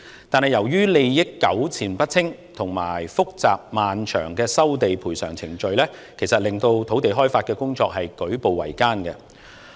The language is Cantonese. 但是，由於利益糾纏不清，以及複雜漫長的收地、賠償程序，令土地開發工作舉步維艱。